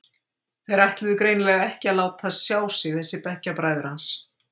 Þeir ætluðu greinilega ekki að láta sjá sig þessir bekkjarbræður hans.